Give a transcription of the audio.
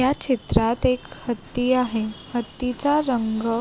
ह्या चित्रात एक हत्ती आहे हत्तीचा रंग--